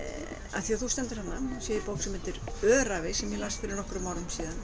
af því þú stendur þarna þá sé ég bók sem heitir Öræfi sem ég las fyrir nokkrum árum síðan